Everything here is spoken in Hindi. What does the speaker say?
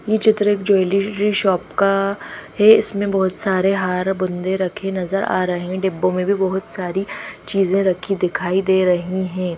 ये चित्र एक ज्वेलरी री शॉप का है इसमें बहोत सारे हार बुंदे रखे नजर आ रहे हैं डब्बों में भी बहुत सारी चीजें रखी दिखाई दे रही हैं।